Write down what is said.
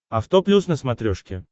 авто плюс на смотрешке